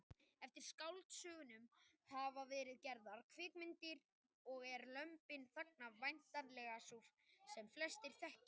Eftir skáldsögunum hafa verið gerðar kvikmyndir og er Lömbin þagna væntanlega sú sem flestir þekkja.